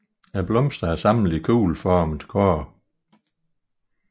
Blomsterne er samlet i kugleformede kurve